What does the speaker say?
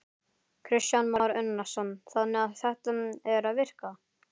Kristján Már Unnarsson: Þannig að þetta er að virka?